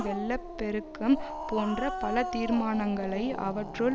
வெள்ள பெருக்கம் போன்ற பல தீர்மானங்களை அவற்றுள்